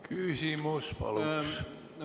Küsimus paluks!